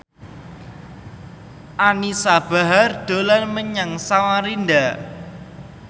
Anisa Bahar dolan menyang Samarinda